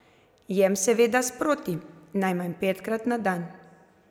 Jem seveda sproti, najmanj petkrat na dan.